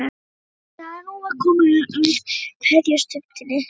Bæði vissu að nú var komið að kveðjustundinni.